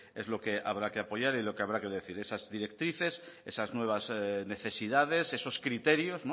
es lo que habrá que apoyar y lo que habrá que decir esas directrices esas nuevas necesidades esos criterios